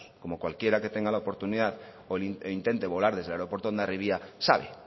cualquiera que tenga la oportunidad o intente volar desde el aeropuerto de hondarribia sabe